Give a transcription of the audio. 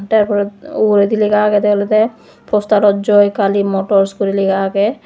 taar pore ugurendi lega agede olode postarot joi kali motors guri lega agey.